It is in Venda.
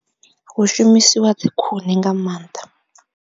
Hu shumisiwa dzikhuni nga maanḓa.